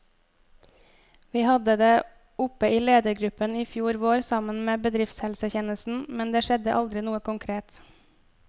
Vi hadde det oppe i ledergruppen i fjor vår, sammen med bedriftshelsetjenesten, men det skjedde aldri noe konkret.